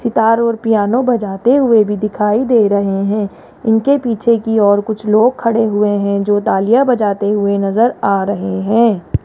सितार और पियानो बजाते हुए भी दिखाई दे रहे हैं इनके पीछे की ओर कुछ लोग खड़े हुए हैं जो तालियां बजाते हुए नजर आ रहे हैं।